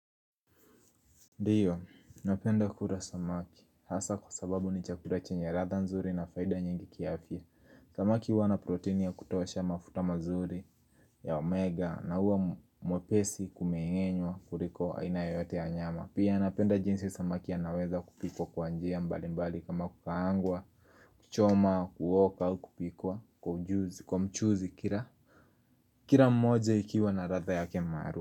Ndio, napenda kula samaki, hasa kwa sababu ni chakura chenye ratha nzuri na faida nyingi kiafya Samaki wana proteini ya kutosha mafuta mazuri ya omega na uwa mwepesi kumeenywa kuliko aina yote ya nyama Pia napenda jinsi samaki ya naweza kupikwa kwa njia mbali mbali kama kukaangwa, kuchoma, kuoka au kupikwa kwa mchuzi kila Kirl mmoja ikiwa na ratha ya maalum.